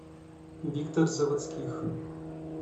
виктор заводских